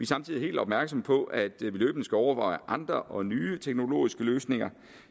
samtidig helt opmærksomme på at løbende skal overveje andre og nye teknologiske løsninger